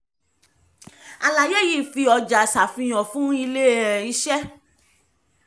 àlàyé yìí fi ọjà ṣàfihàn fún ilé um iṣẹ́